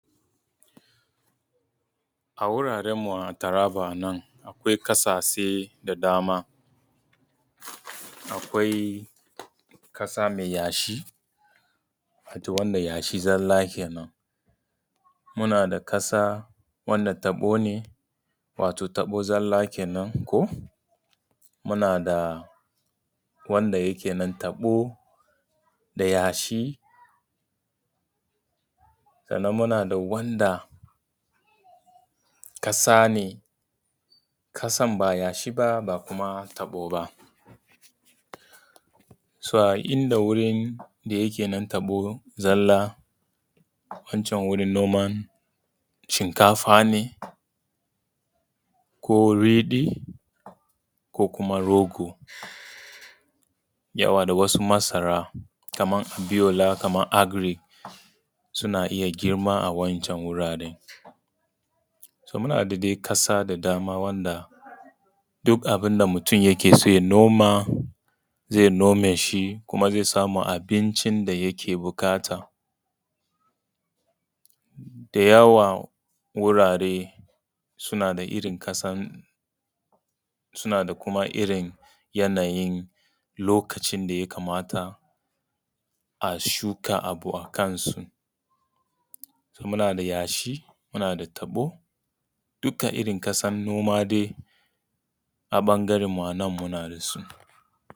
A wuraran mu taraba nan akwai ƙasashe da dama. Akwai ƙasa mai yashi, wato yashi zalla kenan. Muna da ƙasa wanda taɓo ne wato taɓo zalla kenan. Muna da wanda yake nan taɓo da yashi, sannan muna da wanda ƙasa ne ƙasan ba yashi ba ba kuma taɓo ba. So inda wurin da yake nan taɓo zalla, wancan wurin noman shinkafa ne ko riɗi, ko kuma rogo, yauwa da wasu masara kaman abiyola, kaman agric, suna iya girma a wa'incan guraren. So muna da dai ƙasa da dama a wa’inda duk abin da mutun yake so ya noma zai noma shi, kuma zai samu abincin da yake buƙata. Da yawa wurare suna da irin ƙasan suna da kuma irin yanayin lokacin da ya kamata a shuka abu a kan su. So muna da yashi, muna da taɓo duka irin ƙasan noma ne a ɓangaran mu a nan muna da su.